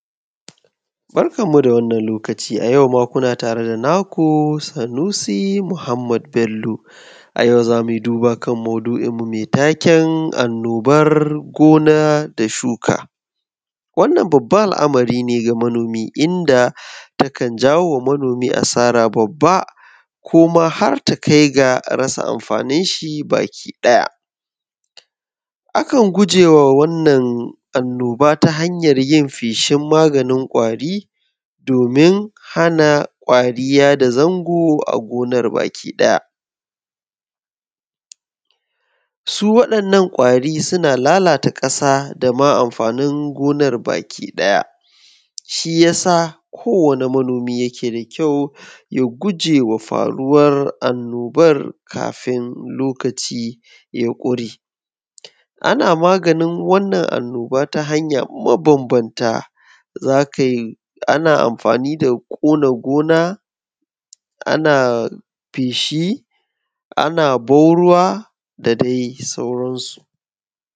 barkan mu da wannan lokaci a yau ma kuna tare da naku sunusi Muhammad bello a yau zamuyi duba kan maudu’in mu mai taken annobar gona da shuka wannan babbar al’amari ne ga manomi inda takan jawowa manomi asara babba koma harta kaiga rasa amfaninshi baki daya akan gujewa wannan annoba ta haryar yin feshin maganin kwari domin hana kwari yada zango a gonar baki daya su wadannan kwari suna lalata kasa da dama gonar baki daya shiyasa kowani manomi yake da kyau ya gujewa faruwar annobar kafin lokaci ya kure ana maganin wannan annobar ta hanya mabanbanta ana amfani da kona gona ana feshi ana ban ruwa da dai sauran su.